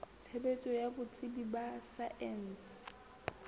tshebetso ya botsebi ba saense